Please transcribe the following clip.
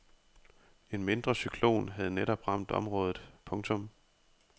En mindre cyklon havde netop ramt området. punktum